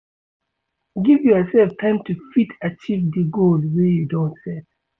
Give yourself time to fit achieve di goal wey you don set